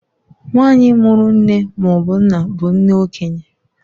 Nwanyị mụrụ nne maọbụ nna bụ nne okenye.